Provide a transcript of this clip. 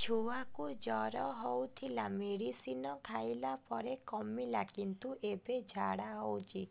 ଛୁଆ କୁ ଜର ହଉଥିଲା ମେଡିସିନ ଖାଇଲା ପରେ କମିଲା କିନ୍ତୁ ଏବେ ଝାଡା ହଉଚି